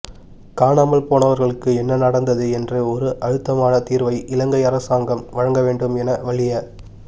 காணாமல் போனவர்களுக்கு என்ன நடந்தது என்ற ஒரு அழுத்தமான தீர்வை இலங்கை அரசாங்கம் வழங்க வேண்டும் என வலிய